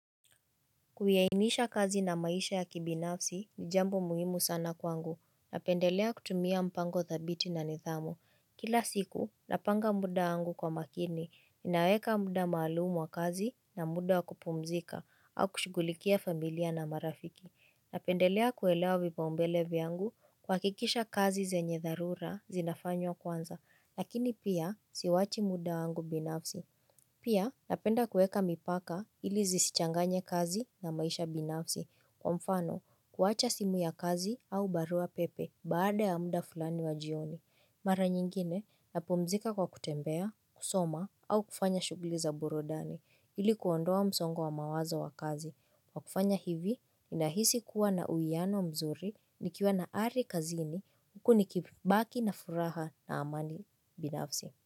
Kuyaainisha kazi na maisha ya kibinafsi ni jambo muhimu sana kwangu. Napendelea kutumia mpango thabiti na nidhamu. Kila siku napanga muda wangu kwa makini. Naweka muda maalumu wa kazi na muda wa kupumzika au kushughulikia familia na marafiki. Napendelea kuelewa vipaumbele vyangu kuhakikisha kazi zenye dharura zinafanywa kwanza. Lakini pia siwachi muda wangu binafsi. Pia napenda kuweka mipaka ili zisichanganye kazi na maisha binafsi kwa mfano kuwacha simu ya kazi au barua pepe baada ya muda fulani wa jioni. Mara nyingine napumzika kwa kutembea, kusoma au kufanya shughuli za burudani ili kuondoa msongo wa mawazo wa kazi. Kwa kufanya hivi ninahisi kuwa na uwiano mzuri nikiwa na ari kazini huku nikibaki na furaha na amani binafsi.